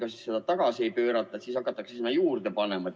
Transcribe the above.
Ega siis seda tagasi ei pöörata, siis hakatakse sinna juurde panema.